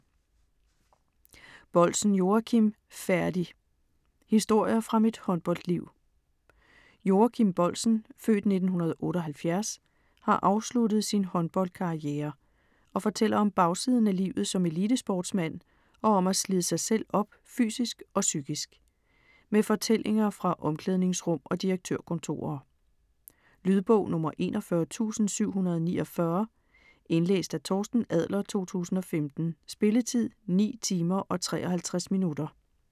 Boldsen, Joachim: Færdig!: historier fra mit håndboldliv Joachim Boldsen (f. 1978) har afsluttet sin håndboldkarriere og fortæller om bagsiden af livet som elitesportsmand og om at slide sig selv op fysisk og psykisk. Med fortællinger fra omklædningsrum og direktørkontorer. Lydbog 41749 Indlæst af Torsten Adler, 2015. Spilletid: 9 timer, 53 minutter.